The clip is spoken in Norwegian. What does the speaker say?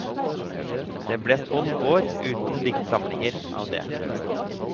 Det ble tolv år uten diktsamlinger av det.